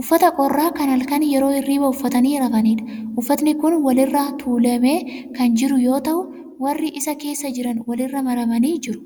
Uffata qorraa kan halkan yeroo hirribaa uffatanii rafaniidha. Uffatni kun wal irra tuulamee kan jiru yoo ta'u warri irra keessa jiran wali irra maramanii jiru.